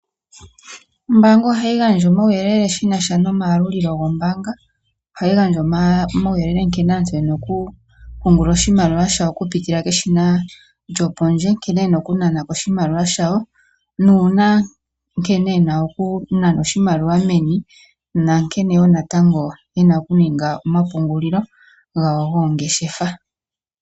Ombaanga ohayi gandja omawuyelele shinasha nomayalulilo gombaanga, ohayi gandja omawuyelele nkene aantu yena okupungula oshimaliwa shoye okupitila keshina lyopondje, nkene yena okunanako oshimaliwa shawo, nuuna nkene yena okunana oshimaliwa meni, nankene natango yena okuninga omapungulilo gawo goongeshefa.